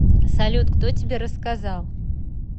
салют кто тебе рассказал